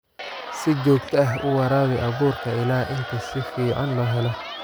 Si joogto ah u waraabi abuurka ilaa inta si fiican loo helo.